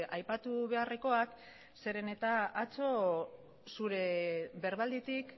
aipatu beharrekoak zeren eta atzo zure berbalditik